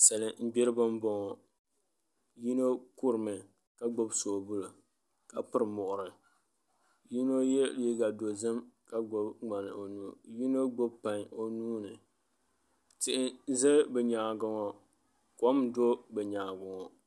Salin gbiribi n boŋo yino kurimi ka gbubi soobuli ka piri muɣuri yino yɛ liiga dozim ka gbubi ŋmani o nuuni ka yino gbubi pai o nuuni tihi n ʒɛ bi nyaangi ŋo kom n do bi nyaangi ŋo